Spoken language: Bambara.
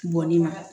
Bɔn ne ma